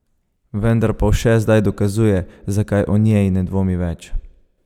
Vendar Povše zdaj dokazuje, zakaj o njej ne dvomi več.